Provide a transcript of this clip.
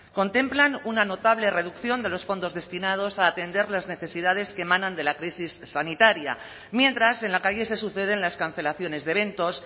contemplan una notable reducción de los fondos destinados a atender las necesidades que emanan de la crisis sanitaria mientras en la calle se suceden las cancelaciones de eventos